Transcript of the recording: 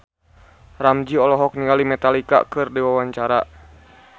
Ramzy olohok ningali Metallica keur diwawancara